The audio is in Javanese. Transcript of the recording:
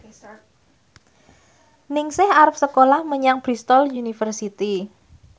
Ningsih arep sekolah menyang Bristol university